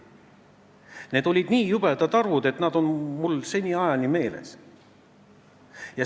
Need olid nii jubedad arvud, et need on mul seniajani meeles.